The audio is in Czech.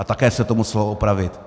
A také se to muselo opravit.